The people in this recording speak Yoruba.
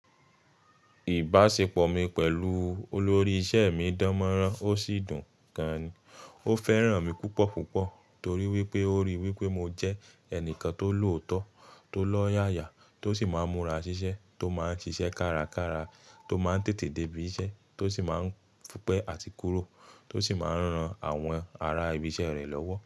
Ìbáṣepọ̀ mi pẹ̀lú olórí iṣẹ́ mi dánmọ́nrán ó sì dùn gan-an. Ó fẹ́ràn mi púpọ̀ púpọ̀ torí wípé ó ríi wípé mo jẹ́ ẹnìkan tó lòótọ́, tó lọ́yàyà, tó sì máa ń múra ṣiṣẹ́, tó máa ń ṣiṣẹ́ kárakára, tó máa ń tètè dé ibiṣẹ́, tó sì máa ń dúpẹ̀ àti kúrò, tó sì máa ń ran àwọn ará ibiṣẹ́ rẹ̀ lọ́wọ́